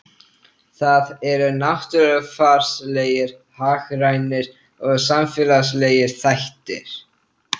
Það eru náttúrufarslegir, hagrænir og samfélagslegir þættir.